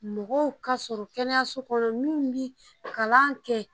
Mɔgɔw ka sɔrɔ kɛnɛyaso kɔnɔ minnu bɛ kalan kɛ.